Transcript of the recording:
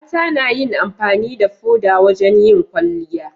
mata nayin amfani da foda wajan yin kwalliya